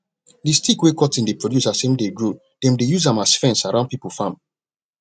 d stick wey cotton dey produce as im dey grow dem dey use am as fence around pipo farm